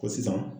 Ko sisan